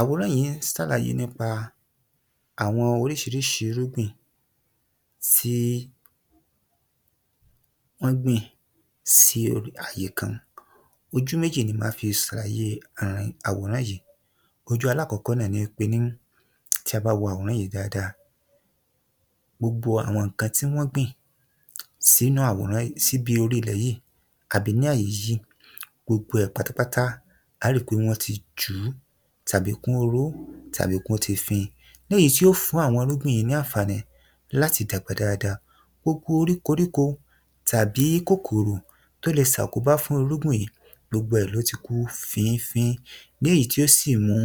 Àwòrán yìí ń ṣàlàyé àwọn oríṣiríṣi irúgbìn tí wọn gbìn sí orí àyékan, ojú méjì ni máa fi ṣàlàyé àwòrán yìí. Ojú alákọ́kọ́ náà ní pé tí a bá wo àwòrán yìí dáadáa, gbogbo àwọn nǹkan tí wọn gbìn sí inú àwòrán yìí, síbi orílẹ̀ yìí àbí ni àyè yìí gbogbo rẹ pátápátá, a rí pé wọn tí jun tàbí kún oró tàbí kí wọn tí fin, léyìí tí yóò fún àwọn irúgbìn yìí láǹfààní láti dàgbà dáadáa, gbogbo orí koríko tàbí kòkòrò tí ó lè ṣàkóbá fún irúgbìn yìí gbogbo rẹ ló ti kú fífín léyìí tí ó ti sí mu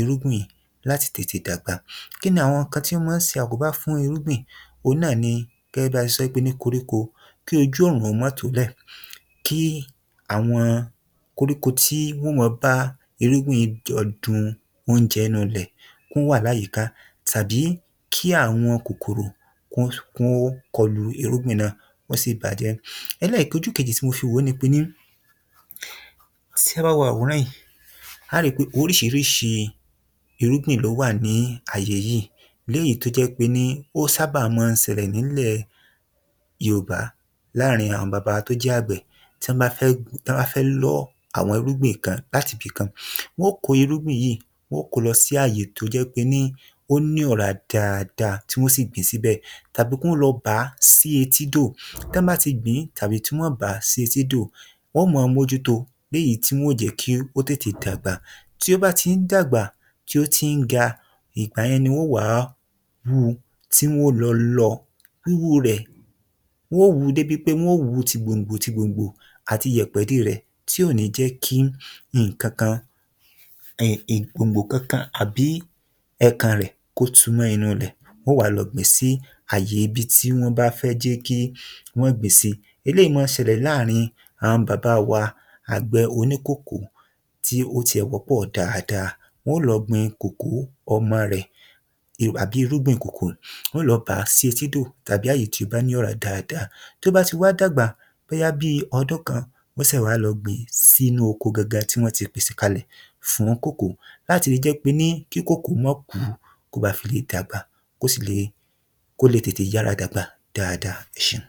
irúgbìn láti tètè dàgbà, kí ni àwọn ohun tí ó máa ń ṣàkóbá fún irúgbìn? ohun náà ni a fi sọ, gẹ́gẹ́ bí a ti sọ fún koríko, kí ojú ọ̀run ó máa tólẹ̀, kí àwọn koríko tí wọn óò bá irúgbìn yìí jọ du oúnjẹ inú ilẹ̀, kí wọn wá láyìíká tàbí kí àwọn kòkòrò kí wọn kọlu irúgbìn náà kì wọn sí bà á jẹ́. Ẹlẹkẹ̀jì, ojú kejì tí mo fi wo ní pé, tí a ba wo àwòrán yìí a ó rí pé oríṣiríṣi irúgbìn ló wà ní àyè yìí, léyìí tí ó jẹ pé ni ó sábà máa ṣẹlẹ̀ nílẹ̀ Yorùbá láàárín àwọn bàbá wa tí ó jẹ agbẹ̀ tí wọn bá fẹ́ lọ́ àwọn irúgbìn kan láti ibikan. Wọn kó irúgbìn yìí wọn ko lọ sí àyè tí ó jẹ́ pé ó ní ọ̀rá ̀ dáadáa tí wọn sí gbìn síbẹ̀ tàbí kí wọn lọ bá sí etídó, tí wọn bá a ti gbìn tàbí tí wọn bá sì etídó wọn máa mójúto léyìí tí wọn tètè dàgbà, tí ó bá ti ń dàgbà tí ó ti ń ga, ìgbà yẹn ni wọn wa wu tí wọn wọ lọ, wíwú rẹ, wọn wu débi pé wọn wu tí gbòǹgbò tí gbòǹgbò àti ìyẹpẹ̀ dé rẹ tí ò ní jẹ́ kí nǹkan, kan gbòǹgbò kankan tàbí ẹ̀kàn rẹ kó tú mọ inú ilẹ̀, wọn wá lọ gbìn sí àyè ibi tí wọn bá fẹ́ kí wọn gbìn sí. Eléyìí máa ń ṣẹlẹ̀ láàárín àwọn bàbá wa agbẹ̀ oníkòkó tí ó ti ẹ̀ wọ́pọ̀ dáadáa, wọn ó lọ gbìn kòkó ọmọ rẹ àbí irúgbìn kòkó, wọn yóò lọ bá sí etídó tàbí àyè tí ó bá ní ọ̀rá dáadáa. Tí ó bá ti wá dàgbà bóyá bí ọdún kan ni wọn ṣe wá lọ gbìn sínú oko ti wọn ti pèsè kalẹ̀ fún kòkó láti lè jẹ pé ki kòkó máa kú, kí ó bá fi lè dàgbà, kí ó sì lè yàrá tètè dàgbà. Ẹ ṣeun